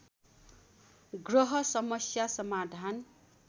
ग्रह समस्या समाधान